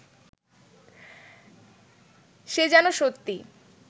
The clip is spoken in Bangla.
সে যেন সত্যি